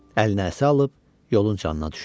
Əlinə əsa alıb yolun canına düşdü.